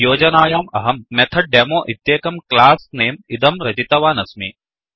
योजनायाम् अहं method demo इत्येकम् class name इदं रचितवानस्मि